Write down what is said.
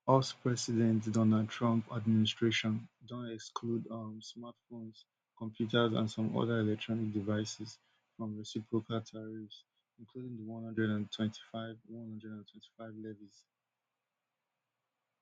US president donald trump administration don exclude um smartphones computers and some oda electronic devices from reciprocal tariffs including di one hundred and twenty-five one hundred and twenty-five levies